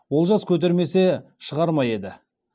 олжас көтермесе шығар ма еді